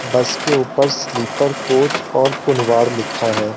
बस के उपर स्लीपर कोच और कोलवार लिखा है।